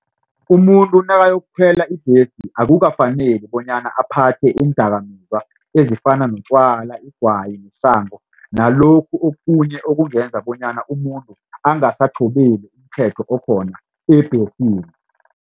Umuntu nakayokukhwela ibhesi akukafaneli bonyana aphathe iindakamizwa ezifana notjwala igwayi isango nalokhu okunye okungenza bonyana umuntu umthetho okhona ebhesini.